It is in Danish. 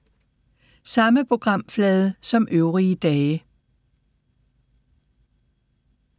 Samme programflade som øvrige dage